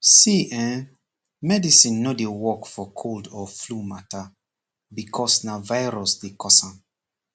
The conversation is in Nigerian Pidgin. see eh medicine no dey work for cold or flu mata becoz na virus dey cause am